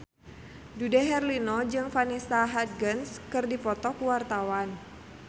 Dude Herlino jeung Vanessa Hudgens keur dipoto ku wartawan